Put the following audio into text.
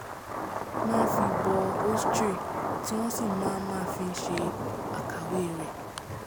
máa ń fi bọ ēostre tí wọ́n sì máa máa ń fi ṣe àkàwé rẹ̀